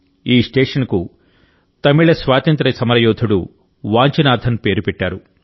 ఈ స్టేషన్కు తమిళ స్వాతంత్ర్య సమరయోధుడు వాంచినాథన్ పేరు పెట్టారు